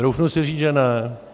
Troufnu si říct, že ne.